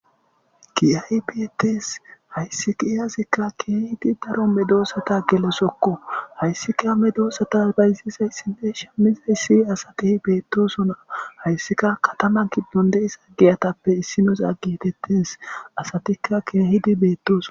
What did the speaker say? Kiyay beetes hayssi kiiyasikka keehidi daro medoosata gelosokko hayssi ka medoosata baysisay sine shammizay ssi asati beettosona hayssika katama giddon deisa giyatappe issinos aggi hetettes asatika keehidi beettoso.